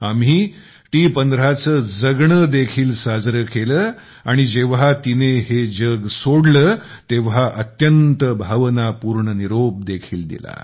आम्ही टीटी १५ चे जगणे देखील साजरे केले आणि जेव्हा तिने हे जग सोडले तेव्हा अत्यंत भावनापूर्ण निरोप देखील दिला